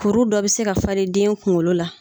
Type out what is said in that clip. Kuru dɔ bɛ se ka falen den kuŋolo la